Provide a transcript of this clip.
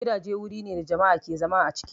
Gidaje wurine da mutane ke zama a ciki